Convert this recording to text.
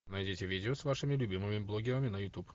найдите видео с вашими любимыми блогерами на ютуб